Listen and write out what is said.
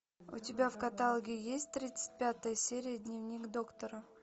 у тебя в каталоге есть тридцать пятая серия дневник доктора